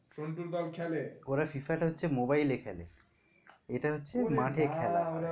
সন্টুর দোল খেলে। ওরা FIFA তা হচ্ছে মোবাইলে খেলে, এটা হচ্ছে মাঠে খেলা।